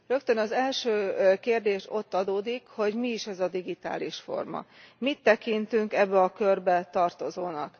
Rögtön az első kérdés ott adódik, hogy mi is ez a digitális forma, mit tekintünk ebbe a körbe tartozónak.